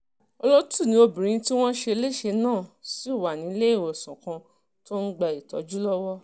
olótù ni obìnrin tí wọ́n ṣe léṣe náà ṣì wà nílẹ̀-ìwòsàn kan tó ti ń gba ìtọ́jú lọ́wọ́